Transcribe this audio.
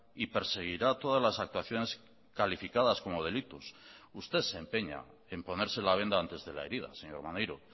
y perseguirá todas las actuaciones calificadas como delitos usted se empeña en ponerse la venda antes de la herida señor maneiro